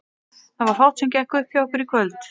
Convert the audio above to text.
Það var fátt sem gekk upp hjá okkur í kvöld.